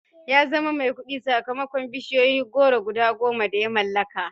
Ya zama mai kuɗi sakamakon bishiyun goro guda goma da ya mallaka